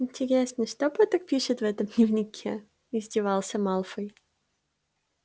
интересно что поттер пишет в этом дневнике издевался малфой